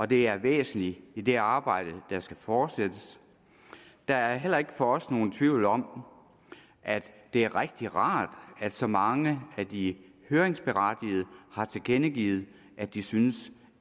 det er væsentligt i det arbejde der skal fortsættes der er heller ikke for os nogen tvivl om at det er rigtigt rart at så mange af de høringsberettigede har tilkendegivet at de synes